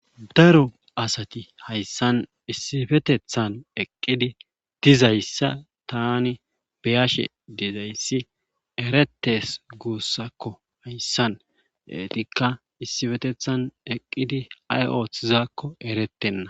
daro asati hayssan issifetethan eqqidi dizayssa tani beyashe dizayssi erettes guussakko hayssan eetikka issifetethan eqqidi ay oothizaakko erettenna